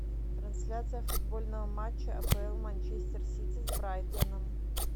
трансляция футбольного матча апл манчестер сити с брайтоном